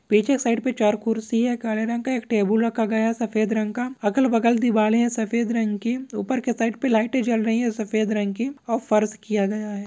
पीछे साइड पे चार कुर्सी हैं काले रंग का एक टेबुल रखा गया है सफेद रंग का अगल बगल दीवालें हैं सफेद रंग की ऊपर की साइड पे लाइटें जल रही हैं सफेद रंग की और फर्श किया गया है।